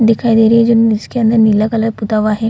दिखाई दे रही है जो जिसके अंदर नीला कलर पुता हुआ है।